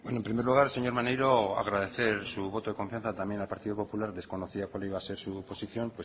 en primer lugar señor maneiro agradecer su voto de confianza también al partido popular desconocía cuál iba a ser su posición